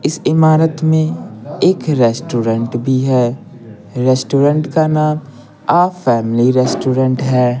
इस इमारत में एक रेस्टोरेंट भी है रेस्टोरेंट का नाम अ फैमिली रेस्टोरेंट है।